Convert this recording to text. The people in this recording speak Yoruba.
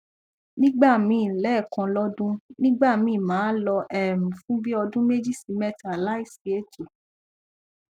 nigbami lekan lodun nigba mi ma lo um fun bi odun meji si meta layi si eto